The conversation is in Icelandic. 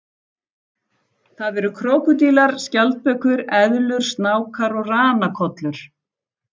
Það eru krókódílar, skjaldbökur, eðlur, snákar og ranakollur.